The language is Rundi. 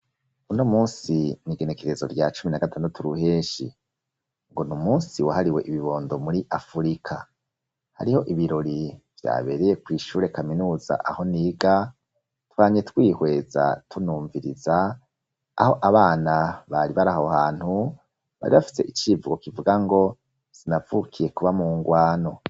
Uno munsi n'igenekerezo rya cumi na gatandatu ruheshi ,ngo n'umunsi wahariwe ibibondo muri afurika, hariho ibirori vyabereye kw,ishure kaminuza aho niga, twamye twihweza tunumviriza ,aho abana bari baraho hantu bari bafite icivugo kivuga ngo, sinavukiye kuba mu ngwano.